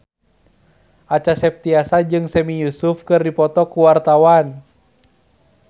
Acha Septriasa jeung Sami Yusuf keur dipoto ku wartawan